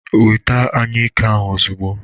Weta anyụike ozugbo.